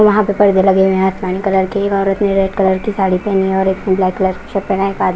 वहां पे परदे लगे हुए हैं आसमानी कलर के औरत ने रेड कलर की साड़ी पहनी है और एक ब्लैक कलर की शर्ट पहने एक आदमी--